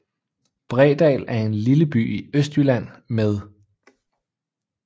Bredal er en lille by i Østjylland med